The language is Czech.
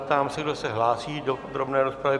Ptám se, kdo se hlásí do podrobné rozpravy.